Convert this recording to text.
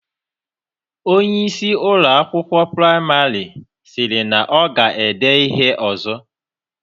Onyeisi Ụlọ akwụkwọ praịmarị siri na ọ ga-edee ihe ọzọ